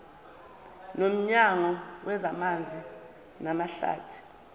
nomnyango wezamanzi namahlathi